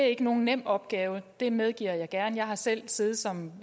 ikke nogen nem opgave det medgiver jeg gerne jeg har selv siddet som